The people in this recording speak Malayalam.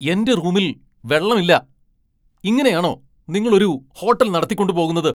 എന്റെ റൂമിൽ വെള്ളമില്ല! ഇങ്ങനെയാണോ നിങ്ങൾ ഒരു ഹോട്ടൽ നടത്തിക്കൊണ്ടു പോകുന്നത് ?